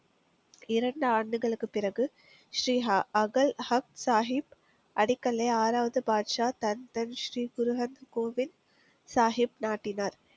இரண்டு ஆண்டுகளுக்குப் பிறகு ஸ்ரீஹா அகல் அக் சாகிப் அடிக்கல்லை ஆறாவது பாட்ஷா தன் தன் ஸ்ரீ முருகன் கோவில் சாகிப் நாட்டினார்